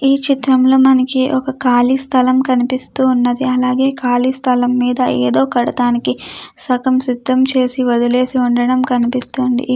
ఈ చిత్రంలో మనకి ఒక కాలి స్థలం కనిపిస్తూ ఉన్నది అలాగే ఖాళీ స్థలం మీద ఏదో కడటానికి సగం సిద్ధం చేసి వదిలేసి ఉండడం కనిపిస్తోంది.